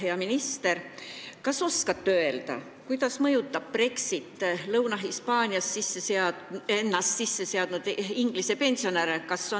Hea minister, kas te oskate öelda, kuidas mõjutab Brexit Lõuna-Hispaanias end sisse seadnud inglise pensionäre?